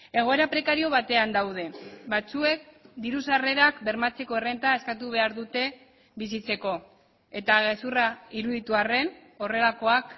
egoera prekario batean daude batzuek diru sarrerak bermatzeko errenta eskatu behar dute bizitzeko eta gezurra iruditu arren horrelakoak